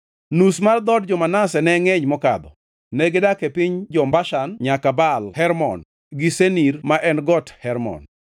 Nus mar dhood jo-Manase ne ngʼeny mokadho; negidak e piny jo-Bashan nyaka Baal Hermon, gi Senir ma en Got Hermon.